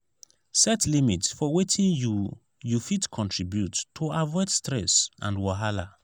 set limit for wetin you you fit contribute to avoid stress and wahala.